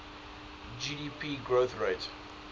gdp growth rate